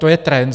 To je trend.